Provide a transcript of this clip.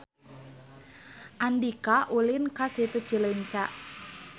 Andika ulin ka Situ Cileunca